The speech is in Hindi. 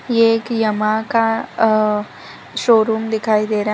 ये एक यामाहा का अ शोरूम दिखाई दे रहा है।